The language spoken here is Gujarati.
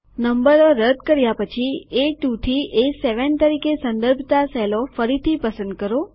નંબરો રદ કર્યા પછી એ2 થી એ7 તરીકે સંદર્ભતા સેલો ફરીથી પસંદ કરો